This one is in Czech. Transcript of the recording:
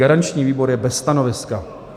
Garanční výbor je bez stanoviska.